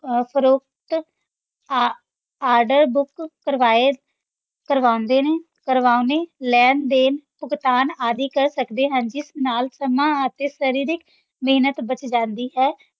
ਅਹ ਫ਼ਰੋਖ਼ਤ ਆ~ order book ਕਰਵਾਏ ਕਰਵਾਉਂਦੇ ਨੇ, ਕਰਵਾਉਣੇ, ਲੈਣ-ਦੇਣ, ਭੁਗਤਾਨ ਆਦਿ ਕਰ ਸਕਦੇ ਹਾਂ ਜਿਸ ਨਾਲ ਸਮਾਂ ਅਤੇ ਸਰੀਰਕ ਮਿਹਨਤ ਬਚ ਜਾਂਦੀ ਹੈ।